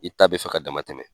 I ta bɛ fɛ ka dama tɛmɛ.